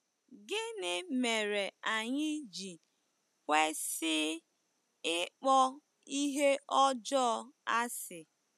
Gịnị mere anyị ji kwesị ịkpọ ihe ọjọọ asị?